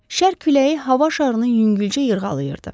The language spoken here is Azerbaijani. Şərq küləyi hava şarının yüngülcə yırğalayırdı.